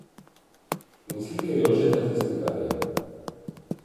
In slike Jožeta Tisnikarja.